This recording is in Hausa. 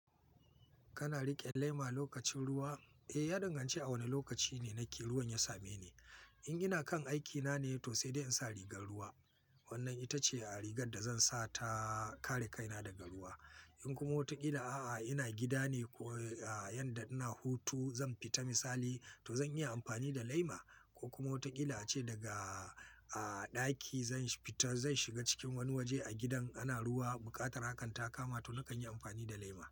Kana riƙe laima lokacin ruwa? Eh, ya danganci a wane lokaci ne ake ruwan ya same ni. In ina kan aikina ne to sai dai in sa rigar ruwa. Wannan ita ce a rigar da zan sa ta kare kaina daga ruwa. In kuma wataƙila a'a ina gida ne ko yanda ina hutu zan fita misali to zan iya amfani da laima. Ko kuma wataƙila ace daga a ɗaki zan fita zan shiga cikin wani waje a gidan ana ruwa buƙatar hakan ta kama to nakan yi amfani da laima.